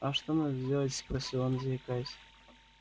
а что надо сделать спросил он заикаясь